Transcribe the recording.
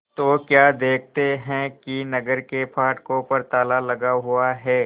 तो क्या देखते हैं कि नगर के फाटकों पर ताला लगा हुआ है